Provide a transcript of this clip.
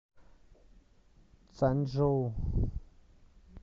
цанчжоу